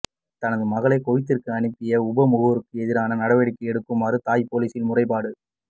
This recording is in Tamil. தனது மகளை குவைத்திற்கு அனுப்பிய உப முகவருக்கெதிராக நடவடிக்கை எடுக்குமாறு தாய் பொலிஸில் முறைப்பாடு